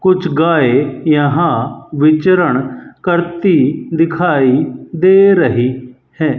कुछ गाय यहां विचरण करती दिखाई दे रही है।